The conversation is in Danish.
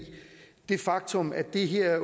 det faktum at det her